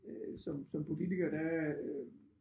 Øh som som politiker der